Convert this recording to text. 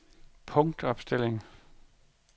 punktopstilling